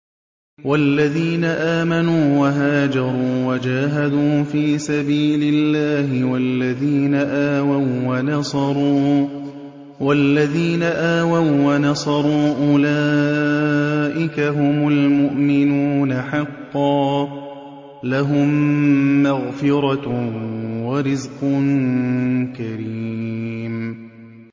وَالَّذِينَ آمَنُوا وَهَاجَرُوا وَجَاهَدُوا فِي سَبِيلِ اللَّهِ وَالَّذِينَ آوَوا وَّنَصَرُوا أُولَٰئِكَ هُمُ الْمُؤْمِنُونَ حَقًّا ۚ لَّهُم مَّغْفِرَةٌ وَرِزْقٌ كَرِيمٌ